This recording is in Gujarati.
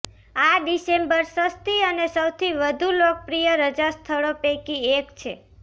આ ડિસેમ્બર સસ્તી અને સૌથી વધુ લોકપ્રિય રજા સ્થળો પૈકી એક છે